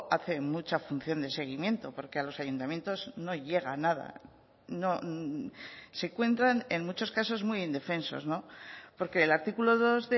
hace mucha función de seguimiento porque a los ayuntamientos no llega nada no se encuentran en muchos casos muy indefensos no porque el artículo dos